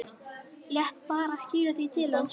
Lét bara skila því til hans!